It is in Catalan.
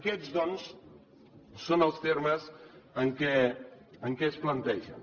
aquests doncs són els termes en què es plantegen